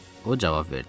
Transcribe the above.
O cavab verdi.